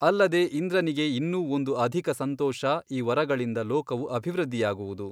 ಅಲ್ಲದೆ ಇಂದ್ರನಿಗೆ ಇನ್ನೂ ಒಂದು ಅಧಿಕ ಸಂತೋಷ ಈ ವರಗಳಿಂದ ಲೋಕವು ಅಭಿವೃದ್ಧಿಯಾಗುವುದು.